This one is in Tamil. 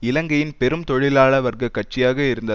இலங்கையின் பெரும் தொழிலாளர் வர்க்க கட்சியாக இருந்த